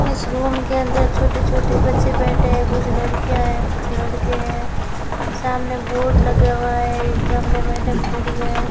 इस रूम के अंदर छोटे छोटे बच्चे बैठे है कुछ लड़कियां हैं कुछ लड़के हैं सामने बोर्ड लगा हुआ है एक सामने मैडम खड़ी है।